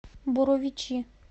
боровичи